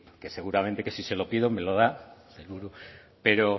que seguramente que si se lo pido me lo da el sailburu pero